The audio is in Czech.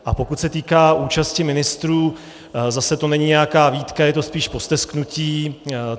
A pokud se týká účasti ministrů, zase to není nějaká výtka, je to spíše postesknutí.